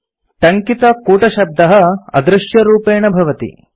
टङ्कितकूटशब्दः अदृश्यरूपेण भवति